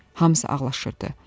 Hamısı ağlaşırdı.